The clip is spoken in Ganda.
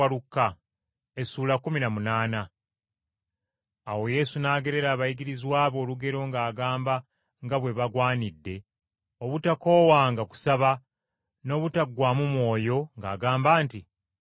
Awo Yesu n’agerera abayigirizwa be olugero ng’agamba nga bwe bagwanidde obutakoowanga kusaba n’obutaggwaamu mwoyo, ng’agamba nti,